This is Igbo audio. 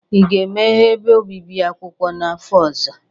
Ị ga-emeghe ebe obibi akwụkwọ n'afọ ọzọ?